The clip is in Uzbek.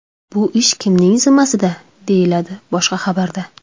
Bu ish kimning zimmasida?”, – deyiladi boshqa xabarda.